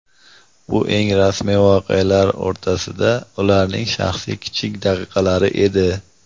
Bu eng rasmiy voqealar o‘rtasida ularning shaxsiy kichik daqiqalari edi.